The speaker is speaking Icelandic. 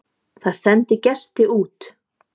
Það sendi gesti út.